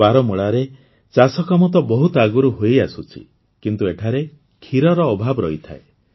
ବାରାମୂଳାରେ ଚାଷକାମ ତ ବହୁତ ଆଗରୁ ହୋଇଆସୁଛି କିନ୍ତୁ ଏଠାରେ ଖିରର ଅଭାବ ରହିଥାଏ